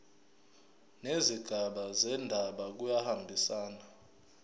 nezigaba zendaba kuyahambisana